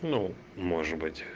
ну может быть